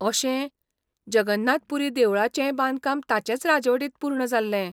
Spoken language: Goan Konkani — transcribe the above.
अशें, जगन्नाथ पुरी देवळाचेंय बांदकाम ताचेच राजवटींत पूर्ण जाल्लें.